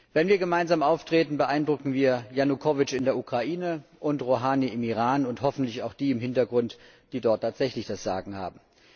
Wenn wir gemeinsam auftreten, beeindrucken wir Janukowitsch in der Ukraine und Rohani im Iran und hoffentlich auch die im Hintergrund, die dort tatsächlich das Sagen haben.